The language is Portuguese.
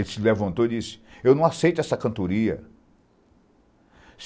Ele se levantou e disse... Eu não aceito essa cantoria.